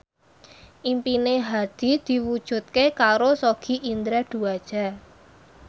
impine Hadi diwujudke karo Sogi Indra Duaja